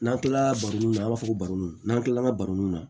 N'an kilala baroniw na an b'a fɔ ko baroni n'an kilala an ka baroniw na